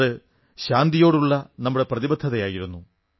അത് ശാന്തിയോടുള്ള നമ്മുടെ പ്രതിബദ്ധതയായിരുന്നു